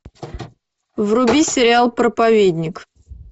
вруби сериал проповедник